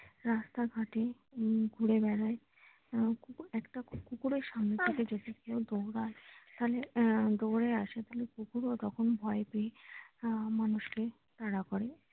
রাস্তা ঘাটে ঘুরে বেড়ায় একটা কুকুরের সামনে থেকে যদি কেউ দৌড়ায় তাহলে দৌড়ে আসে কুকুরও তখন ভয় পেয়ে মানুষকে তাড়া করে।